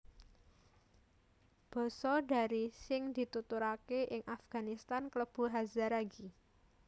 Basa Dari sing dituturaké ing Afganistan klebu Hazaragi